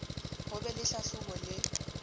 ho be le hlahlobo le